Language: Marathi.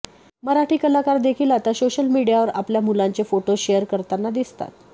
मराठी कलाकार देखील आता सोशल मीडियावर आपल्या मुलांचे फोटो शेअर करताना दिसतात